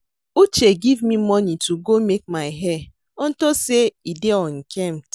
Uche give me money to go make my hair unto say e dey unkempt